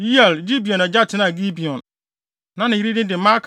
Yeiel (Gibeon agya) tenaa Gibeon. Na ne yere din de Maaka